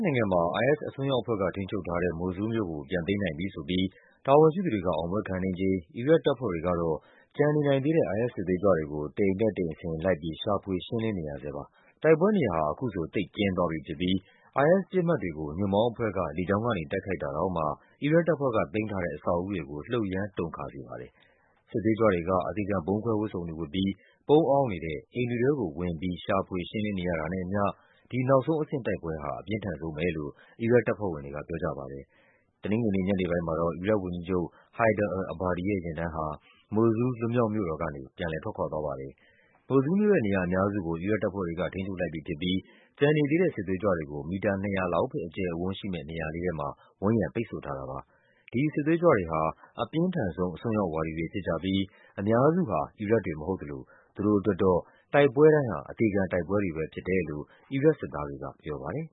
ိုင်ငံမှာ IS အစွန်းရောက်အဖွဲ့က ထိန်းချုပ်ထားတဲ့ မိုဆူးလ်မြို့ကို ပြန်သိမ်းနိုင်ပြီဆိုပြီး တာဝန်ရှိသူတွေ အောင်ပွဲခံနေချိန် အီရတ်တပ်ဖွဲ့တွေကတော့ ကျန်နေနိုင်သေးတဲ့ IS စစ်သွေးကြွတွေကို တအိမ်တက် တအိမ်ဆင်း လိုက်ပြီး ရှာဖွေ ရှင်းလင်းနေရဆဲ ပါ။ တိုက်ပွဲနေရာဟာ အခုဆို သိပ်ကျဉ်းသွားပြီဖြစ်ပြီး IS ပစ်မှတ်တွေကို ညွန့်ပေါင်းအဖွဲ့က လေကြောင်းကနေ တိုက်ခိုက်တာ တောင်မှ အီရတ်တပ်ဖွဲ့က သိမ်းထားတဲ့ အဆောက်အဦးတွေကို လှုပ်ရမ်းတုန်ခါစေပါတယ်။ စစ်သွေးကြွတွေက အသေခံဗုံးခွဲဝတ်စုံတွေဝတ်ပြီး ပုန်းအောင်းနေတဲ့ အိမ်တွေထဲကိုဝင်ပြီး ရှာဖွေရှင်းလင်းနေရတာနဲ့အမျှ ဒီနောက်ဆုံးအဆင့်တိုက်ပွဲဟာ အပြင်းထန်ဆုံးပဲလို့ အီရတ်တပ်ဖွဲ့ဝင်တွေက ပြောကြပါတယ်။ တနင်္ဂနွေနေ့ညနေပိုင်းမှာတော့ အီရတ်ဝန်ကြီးချုပ် Haidar al-Abadi ရဲ့ယာဉ်တန်းဟာ မိုဆူးလ် လွတ်မြောက်မြို့တော်ကနေ ထွက်ခွာသွားပါတယ်။ မိုဆူးလ်မြို့ရဲ့ နေရာအများစုကို အီရတ်တပ်ဖွဲ့တွေက ထိန်းချုပ်လိုက်ပြီဖြစ်ပြီး ကျန်နေသေးတဲ့ စစ်သွေးကြွတွေကို မီတာ ၂၀၀ လောက်ပဲ အကျယ်အဝန်းရှိမယ့် နေရာလေးထဲမှာ ဝန်းရံ ပိတ်ဆို့ထားတာပါ။ ဒီစစ်သွေးကြွတွေဟာ အပြင်းထန်ဆုံးအစွန်းရောက် ဝါဒီတွေဖြစ်ကြပြီး အများစုဟာ အီရတ်တွေမဟုတ်သလို သူတို့အတွက်တော့ တိုက်ပွဲတိုင်းဟာ အသေခံတိုက်ပွဲတွေပဲ ဖြစ်တယ် လို့ အီရတ်စစ်သားတွေကပြောပါတယ်